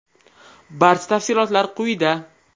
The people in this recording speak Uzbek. Barcha tafsilotlar quyida.